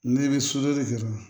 Ne bɛ sodɔ de kɛ dɔrɔn